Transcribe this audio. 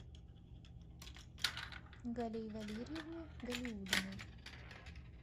галии валерьевны галиуллиной